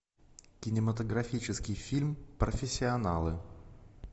кинематографический фильм профессионалы